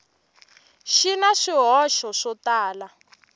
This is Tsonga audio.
xi na swihoxo swo tala